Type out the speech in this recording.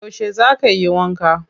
Yauce za ka yi wanka?